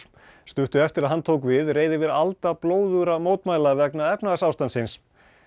stuttu eftir að hann tók við reið yfir alda blóðugra mótmæla vegna efnahagsástandsins